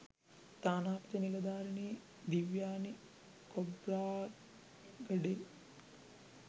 තානාපති නිලධාරිනි දිව්යානි කොබ්රාගඩේ